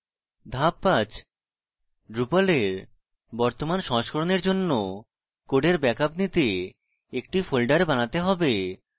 ধাপ 5: drupal এর বর্তমান সংস্করণের জন্য কোডের ব্যাকআপ নিতে একটি ফোল্ডার বানাতে হবে